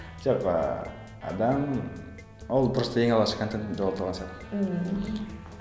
жоқ ыыы адам ол просто ең алғашқы контентінде отырған сияқты мхм